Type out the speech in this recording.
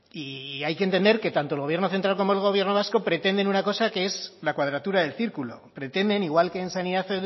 y hay que entender que tanto el gobierno central como el gobierno vasco pretenden una cosa que es la cuadratura del círculo pretenden igual que en sanidad